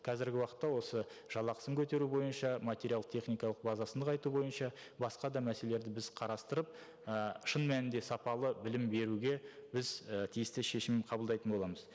қазіргі уақытта осы жалақысын көтеру бойынша материалды техникалық базасын нығайту бойынша басқа да мәселелерді біз қарастырып і шын мәнінде сапалы білім беруге біз і тиісті шешім қабылдайтын боламыз